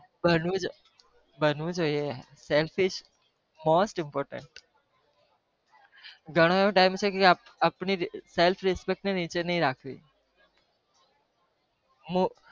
બનવું જોઈ self respect ને ઘણો એવું જોઈં